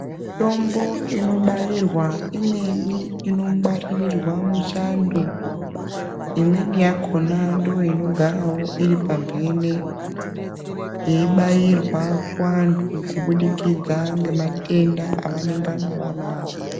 Mitombo inobayirwa umweni inobayirwa muchando imweni yakona ndiyo inogarawo iri pambene yeti bayirwa kuvantu kubudikidza nematenda evanenge vanawo.